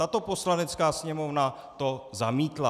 Tato Poslanecká sněmovna to zamítla.